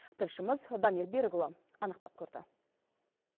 тілшіміз дамир берікұлы анықтап көрді